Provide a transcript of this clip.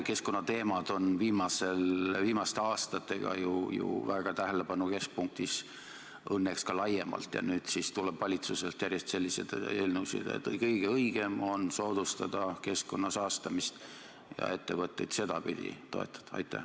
Keskkonnateemad on viimastel aastatel ju väga tähelepanu keskpunktis õnneks ka laiemalt ja nüüd tuleb valitsuselt järjest selliseid eelnõusid, et kõige õigem on soodustada keskkonna saastamist ja ettevõtteid sedapidi toetada.